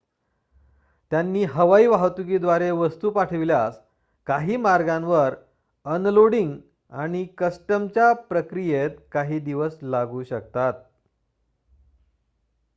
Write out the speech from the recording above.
त्यांनी हवाई वाहतुकीद्वारे वस्तू पाठविल्यास काही मार्गांवर अनलोडिंग आणि कस्टमच्या प्रक्रियेत काही दिवस लागू शकतात